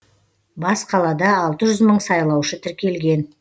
бас қалада алты жүз мың сайлаушы тіркелген